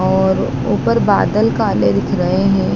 और ऊपर बादल काले दिख रहे है।